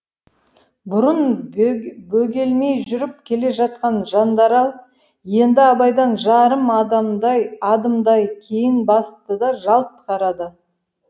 бұрын бөгелмей жүріп келе жатқан жандарал енді абайдан жарым адымдай кейін басты да жалт қарады